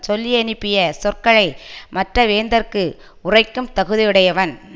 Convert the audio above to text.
சொல்லியனுப்பிய சொற்களை மற்ற வேந்தர்க்கு உரைக்கும் தகுதியுடையவன்